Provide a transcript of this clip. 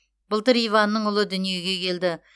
былтыр иванның ұлы дүниеге келді